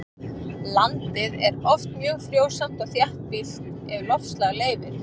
Landið er oft mjög frjósamt og þéttbýlt ef loftslag leyfir.